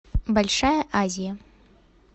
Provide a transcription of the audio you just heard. большая азия